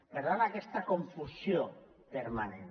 per tant hi ha aquesta confusió permanent